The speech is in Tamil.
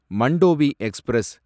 மண்டோவி எக்ஸ்பிரஸ்